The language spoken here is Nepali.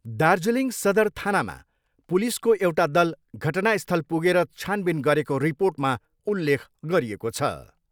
दार्जिलिङ सदर थानामा पुलिसको एउटा दल घटनास्थल पुगेर छानबिन गरेको रिर्पोटमा उल्लेख गरिएको छ।